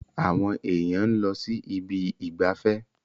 Àwọn èèyàn ló ń sí Ibi ìgbafẹ́.